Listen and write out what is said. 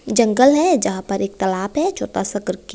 जंगल है यहां पर एक तालाब है छोटा सा करके।